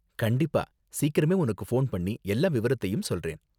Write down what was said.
கண்டிப்பா, சீக்கிரமே உனக்கு ஃபோன் பண்ணி எல்லா விவரத்தையும் சொல்றேன்.